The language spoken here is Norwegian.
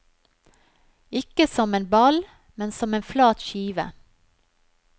Ikke som en ball, men som en flat skive.